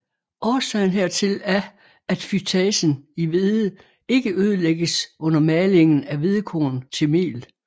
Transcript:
Årsagen hertil er at fytasen i hvede ikke ødelægges under malingen af hvedekorn til mel